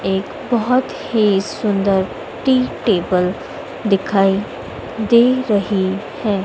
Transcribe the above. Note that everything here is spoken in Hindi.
एक बहैत ही सुंदर टी टेबल दिखाई दे रही है।